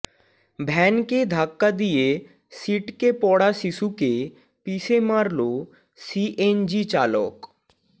ভ্যানকে ধাক্কা দিয়ে সিটকে পড়া শিশুকে পিষে মারল সিএনজিচালক